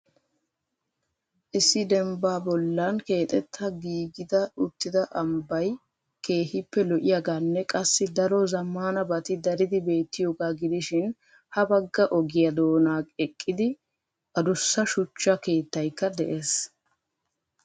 Issi dembba bollan keexxeta giigida uttida ambbay keehippe lo"iyaaganne qassi daro zammanabati daridi beettiyooga gidishin ha bagga ogiyaa doona eqqidi addussa shuchcha keettaykk de'ees.